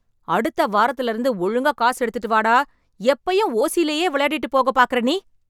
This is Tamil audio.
அடுத்த வாரத்துல இருந்து ஒழுங்கா காசு எடுத்துட்டு வா டா. எப்போயும் ஓசிலேயே விளையாடிட்டுப் போகக் பார்க்குற நீ.